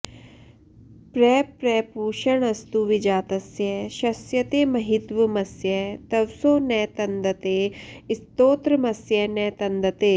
प्रप्र पूष्णस्तुविजातस्य शस्यते महित्वमस्य तवसो न तन्दते स्तोत्रमस्य न तन्दते